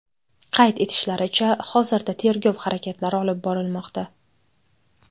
Qayd etishlaricha, hozirda tergov harakatlari olib borilmoqda.